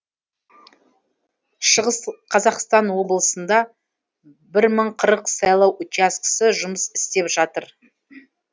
шығыс қазақстан облысында бір мың қырық сайлау учаскесі жұмыс істеп жатыр